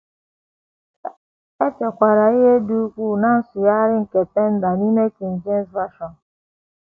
E chekwara ihe dị ukwuu ná nsụgharị nke Tyndale n’ime King James Version.